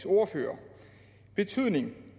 ordfører betydningen